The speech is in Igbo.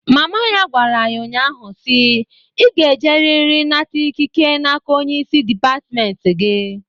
Mama ya gwara ya nnya ahụ si, "I ga e jeriri nata ikike na-aka onye isi dipatmenti gị!"